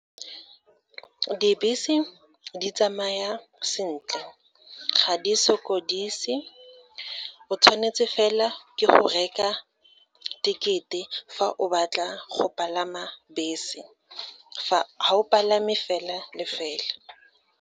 Dibese di tsamaya sentle ga di sokodise, o tshwanetse fela ke go reka thekete fa o batla go palama bese, ga o palame fela le fela.